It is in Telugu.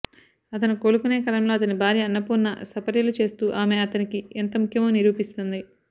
అతను కోలుకొనే కాలంలో అతని భార్య అన్నపూర్ణ సపర్యలు చేస్తూ ఆమె అతనికి ఎంత ముఖ్యమో నిరూపిస్తుంది